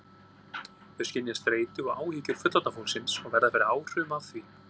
Þau skynja streitu og áhyggjur fullorðna fólksins og verða fyrir áhrifum af því.